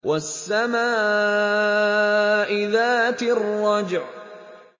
وَالسَّمَاءِ ذَاتِ الرَّجْعِ